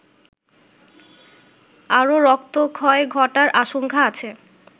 আরো রক্তক্ষয় ঘটার আশঙ্কা আছে